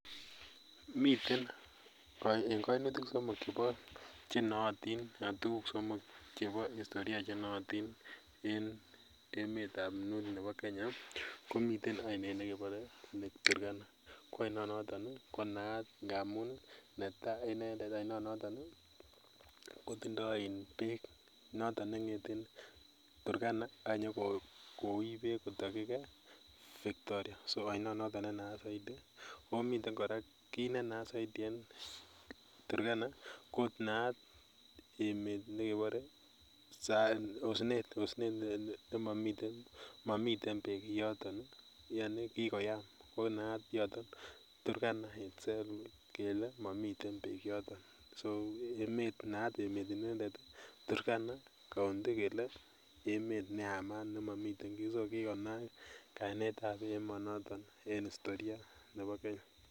Miten en koinutik somok chebo nootin anan tuguk somok chebo historia chenootin en emetab north ne bo kenya komiten ainet nekebore lake Turkana kwo ainonoton konaat ngamun netai inendet ainonoton kotindoo iin beek noton neng'eten Turkana akinyo kowich beek kotokyin victoria so ainonoton nenaat saidi omiten kora kit nenaat saidi en Turkana naat emet nekebore osnet nemomii momiten beek yoton ii yaani kikoyam oo naat yoton Turkana ako naat yoton turkana itself kele kikoyam so naat emet inendet Turkana kele emet neyamat nemomiten kii so kikonaak kainetab emonoton en historia nebo kenya .